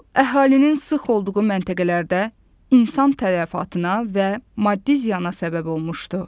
Bu əhalinin sıx olduğu məntəqələrdə insan tələfatına və maddi ziyana səbəb olmuşdu.